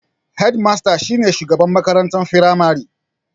Hedimasta shi ne shugaban makarantar firamare.